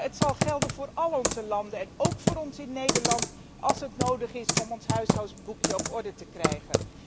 Maar het zal gelden voor al onze landen en ook voor Nederland, als dat nodig is om ons huishoudboekje op orde te krijgen.